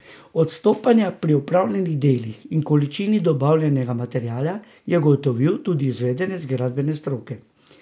Odstopanja pri opravljenih delih in količini dobavljenega materiala je ugotovil tudi izvedenec gradbene stroke.